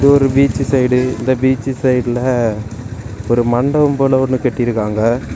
இது ஒரு beach side இந்த பீச் சைடுல ஒரு மண்டபம் போல ஒன்னு கட்டிருக்காங்க.